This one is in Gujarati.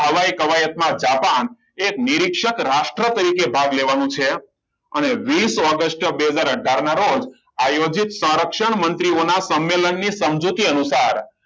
આ હવાઈ કવાયતમાં જાપાન એક નિરીક્ષક રાષ્ટ્ર તરીકે ભાગ લેવાનું છે અને વિસ ઓગસ્ટ બે હજાર અથાર ના રોજ આયોજિત સંરક્ષણ મંત્રીઓના સંમેલનની સમજૂતી અનુસાર